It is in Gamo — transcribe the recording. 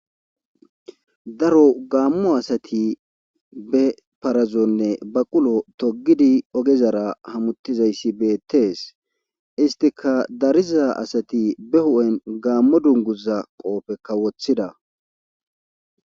Daro gaammo asati be parazonne baqulo togidi ogezara hamutizayssi beettees istika dariza asati be hu7en gaammo dunguza qoofe kawoththida.